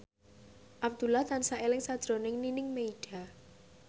Abdullah tansah eling sakjroning Nining Meida